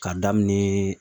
K'a daminɛ